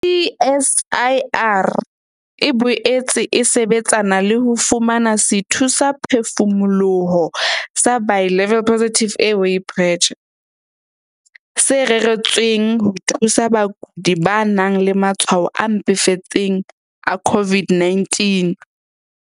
CSIR e boetse e sebetsana le ho fumana sethusaphefumoloho sa Bi-level Positive Airway Pressure, se reretsweng ho thusa bakudi ba nang le matshwao a mpefetseng a COVID-19.